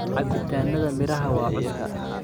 Cabitaanada miraha waa cusub